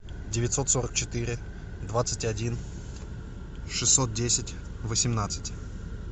девятьсот сорок четыре двадцать один шестьсот десять восемнадцать